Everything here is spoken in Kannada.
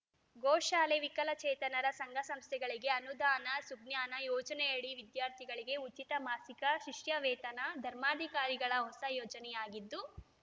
ಗೋಶಾಲೆ ವಿಕಲಚೇತನರ ಸಂಘ ಸಂಸ್ಥೆಗಳಿಗೆ ಅನುದಾನ ಸುಜ್ಞಾನ ಯೋಜನೆಯಡಿ ವಿದ್ಯಾರ್ಥಿಗಳಿಗೆ ಉಚಿತ ಮಾಸಿಕ ಶಿಷ್ಯವೇತನ ಧರ್ಮಾಧಿಕಾರಿಗಳ ಹೊಸ ಯೋಜನೆಯಾಗಿದ್ದು